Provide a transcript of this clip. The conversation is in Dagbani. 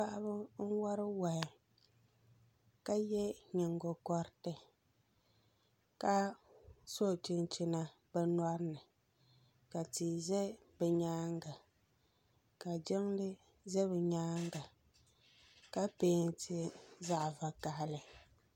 Paɣaba n wari wahi ka yɛ nyigokoriti ka so chinchina bi nyoɣini ka tia ʒɛ bi nyaanga ka jiŋli ʒɛ bi nyaanŋa ka peenti zaɣ bvakaili